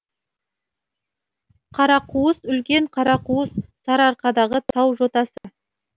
қарақуыс үлкен қарақуыс сарыарқадағы тау жотасы